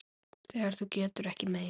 Þegar þú getur ekki meir.